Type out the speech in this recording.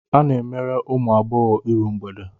A na-emere ụmụ agbọghọ iru mgbede.